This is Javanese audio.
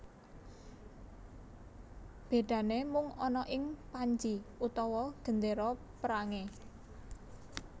Bedane mung ana ing panji utawa gendera perange